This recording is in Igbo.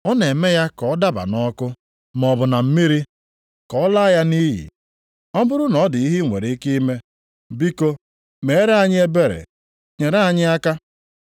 Ọ na-eme ya ka ọ daba nʼọkụ, maọbụ na mmiri, ka ọ laa ya nʼiyi. Ọ bụrụ na ọ dị ihe i nwere ike ime, biko meere anyị ebere, nyere anyị aka.”